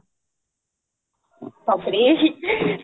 ତାପରେ